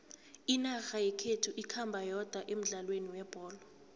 inarha yekhethu ikhamba yodwa emdlalweni webholo